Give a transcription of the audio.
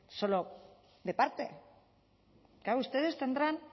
solo de parte claro ustedes tendrán